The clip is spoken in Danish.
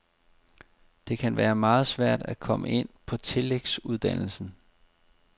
Det kan være meget svært at komme ind på tillægsuddannelsen.